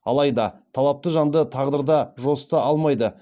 алайда талапты жанды тағдыр да жасыта алмайды